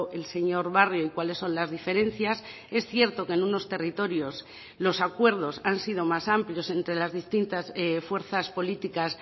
el señor barrio y cuáles son las diferencias es cierto que en unos territorios los acuerdos han sido más amplios entre las distintas fuerzas políticas